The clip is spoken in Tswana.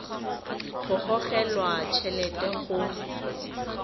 go gogelwa t helete go